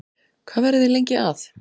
Hvað verðið þið lengi að?